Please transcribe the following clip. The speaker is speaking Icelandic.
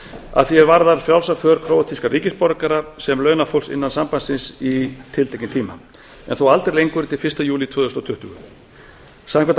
að því er varðar frjálsa för króatískra ríkisborgara sem launafólks innan sambandsins í tiltekinn tíma en þó aldrei lengur en til fyrsta júlí tvö þúsund og tuttugu samkvæmt